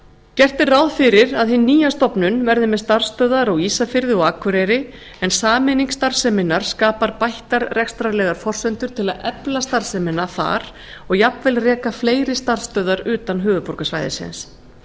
gert er ráð fyrir að hin nýja stofnun verði með starfsstöðvar á ísafirði og akureyri en sameining starfseminnar skapar bættar rekstrarlegar forsendur til að efla starfsemina þar og jafnvel reka fleiri starfsstöðvar utan höfuðborgarsvæðisins